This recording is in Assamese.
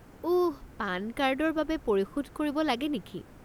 ওহ, পান কাৰ্ডৰ বাবে পৰিশোধ কৰিব লাগে নেকি?